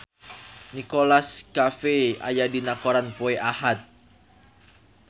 Nicholas Cafe aya dina koran poe Ahad